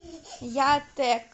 ятэк